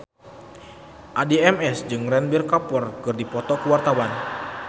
Addie MS jeung Ranbir Kapoor keur dipoto ku wartawan